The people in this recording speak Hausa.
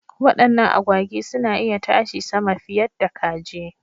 Wadannan agwagi suna iya tashi sama fiyadda kaji.